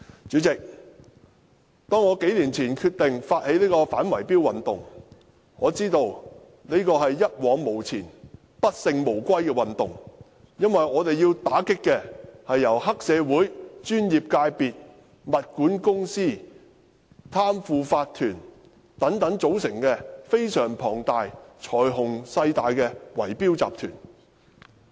主席，我數年前決定發起這項反圍標運動時，我知道這是一往無前、不勝無歸的運動，因為我們要打擊的，是由黑社會、專業界別、物業管理公司、貪腐法團等組成的非常龐大及財雄勢大的圍標集團。